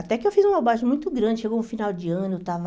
Até que eu fiz uma baixa muito grande, chegou no final de ano, eu estava...